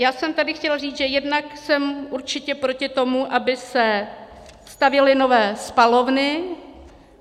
Já jsem tady chtěla říct, že jednak jsem určitě proti tomu, aby se stavěly nové spalovny.